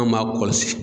Anw b'a kɔlɔsi